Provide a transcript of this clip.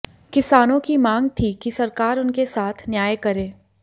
किसानों की मांग थी कि सरकार उनके साथ न्याय करे